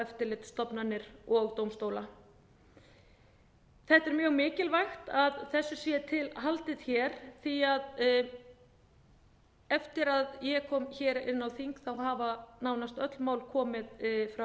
eftirlitsstofnanir og dómstóla þetta er mjög mikilvægt að þessu sé til haldið hér því eftir að ég kom hér inn á þing hafa nánast öll mál komið frá